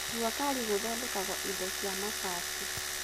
Jua Kali gũthondekagwo indo cia mabati.